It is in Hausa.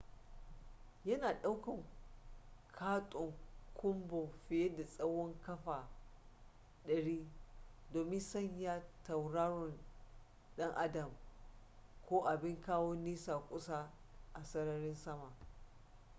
yana daukan katon kunbo fiye da tsawon kafa 100 domin sanya tauraron dan adam ko abin kawo nesa kusa a sararin sama